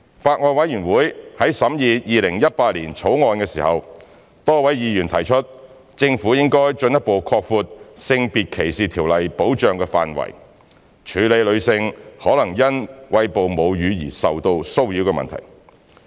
法案委員會在審議《2018年條例草案》時，多位議員提出政府應進一步擴闊《性別歧視條例》的保障範圍，處理女性可能因餵哺母乳而受到騷擾的問題。